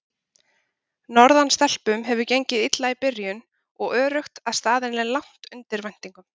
Norðan stelpum hefur gengið illa í byrjun og öruggt að staðan er langt undir væntingum.